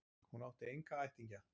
Hún átti enga ættingja.